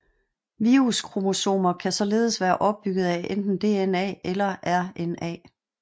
Viruskromosomer kan således være opbygget af enten DNA eller RNA